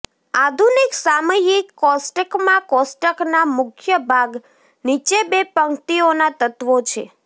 આધુનિક સામયિક કોષ્ટકમાં કોષ્ટકના મુખ્ય ભાગ નીચે બે પંક્તિઓના તત્વો છે